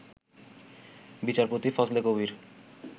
বিচারপতি ফজলে কবীর